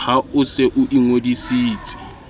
ha o se o ingodisitse